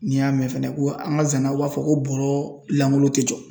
N'i y'a mɛn fɛnɛ ko an ka zanaw b'a fɔ ko bɔɔrɔ lankolon tɛ jɔ.